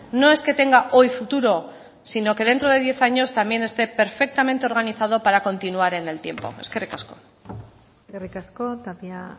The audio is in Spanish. no es que tenga hoy futuro sino que dentro de diez años también esté perfectamente organizado para continuar en el tiempo eskerrik asko eskerrik asko tapia